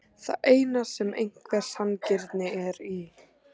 Það er það eina sem einhver sanngirni er í